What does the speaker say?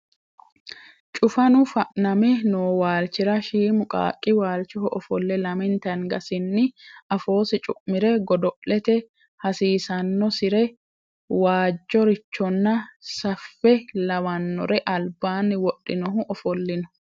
Cufanu faname noo waalchira shiimu qaaqqu waalchoho ofolle lamente angasinni afoosi cu'mire godo'lete hasiisannosire waajjorichonna saffe lawannore albaanni wodhinohu ofollino